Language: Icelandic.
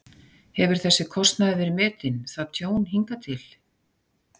Hefur þessi kostnaður verið metinn, það tjón, hingað til?